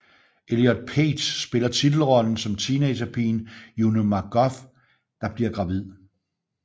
Elliot Page spiller titelrollen som teenagepigen Juno MacGuff der bliver gravid